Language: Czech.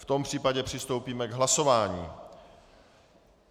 V tom případě přistoupíme k hlasování.